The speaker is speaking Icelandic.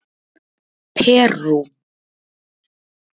Perú